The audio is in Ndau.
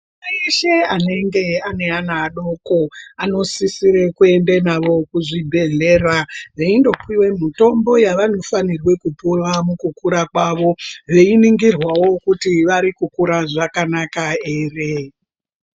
Eshe anenge ane ana adoko anosisire kuende navo kuzvibhedhleya veindopiwe mitombo yavanofanire kupuwa mukukura kwavo veiningirwawo kuti vari kukura zvakanaka ere.